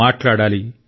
మాట్లాడాలి